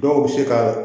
Dɔw bɛ se ka